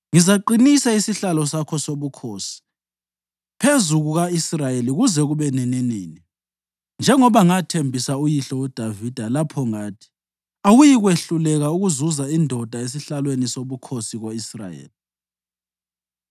ngizaqinisa isihlalo sakho sobukhosi phezu kuka-Israyeli kuze kube nininini, njengoba ngathembisa uyihlo uDavida lapho ngathi, ‘Awuyikwehluleka ukuzuza indoda esihlalweni sobukhosi ko-Israyeli.’